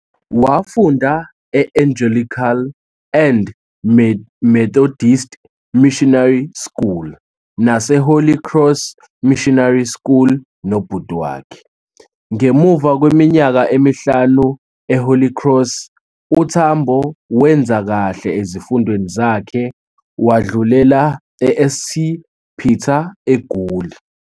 Wafunda e-Angelican and Methodist Missionary School nase Holly Cross Missionary School nobhuti wakhe. Ngemuva kweminyaka emihlanu e-Holy Cross, uTambo wenza kahle ezifundweni zakhe wadlulela eSt Peter, eGoli.